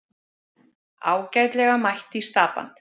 Ágætlega mætt í Stapann